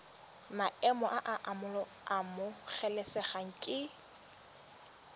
maemo a a amogelesegang ke